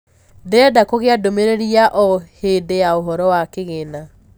ndĩrenda kugĩa ndumĩriri ya o hĩndi ya ũhoro wa kigĩna